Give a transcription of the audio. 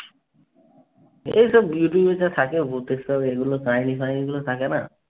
এসব ইউটুবে যা থাকে ভুতের সব এগুলো। কাহিনী ফাহিনীগুলো থাকে না।